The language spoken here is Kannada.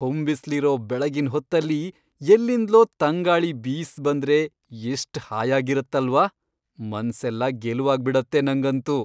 ಹೊಂಬಿಸ್ಲಿರೋ ಬೆಳಗಿನ್ ಹೊತ್ತಲ್ಲಿ ಎಲ್ಲಿಂದ್ಲೋ ತಂಗಾಳಿ ಬೀಸ್ ಬಂದ್ರೆ ಎಷ್ಟ್ ಹಾಯಾಗಿರತ್ತಲ್ವಾ, ಮನ್ಸೆಲ್ಲ ಗೆಲುವಾಗ್ಬಿಡತ್ತೆ ನಂಗಂತೂ.